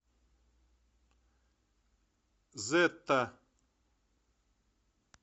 зетта